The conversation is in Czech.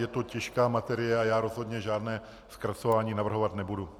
Je to těžká materie a já rozhodně žádné zkracování navrhovat nebudu.